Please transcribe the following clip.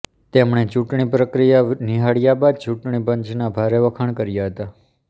તેમણે ચૂંટણી પ્રક્રિયા નિહાળ્યા બાદ ચૂંટણી પંચનાં ભારે વખાણ કર્યા હતાં